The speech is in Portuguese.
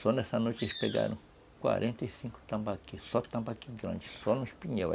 Só nessa noite eles pegaram quarenta e cinco tambaquis, só tambaquis grandes, só no espinhel.